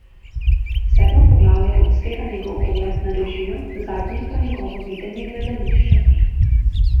Sedmo poglavje odstira njegov pogled na režijo, zadnje pa njegovo videnje gledališča.